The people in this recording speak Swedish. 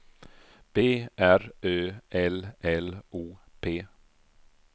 B R Ö L L O P